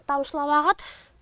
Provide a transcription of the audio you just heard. тамшылап ағады